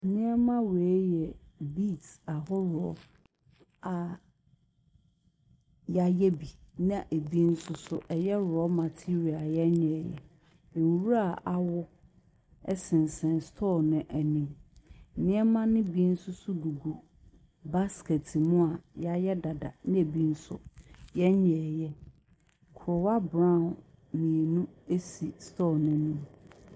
Nneɛma wei yɛ beeds ahoroɔ a wɔayɛ bi na ebi nso so ɛyɛ raw material a wɔnyɛeɛ. Nwura a awo sensɛn store no anim. Nneɛma no bi nso so gugu basket mu a wɔyɛ dada, na ebi nso wɔnyɛeɛ. Koraa brown mmienu si store no anim.